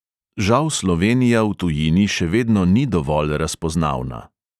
Žal slovenija v tujini še vedno ni dovolj razpoznavna.